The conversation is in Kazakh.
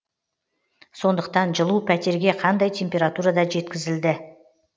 сондықтан жылу пәтерге қандай температурада жеткізілді